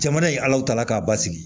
Jamana ye ala tala k'a basigi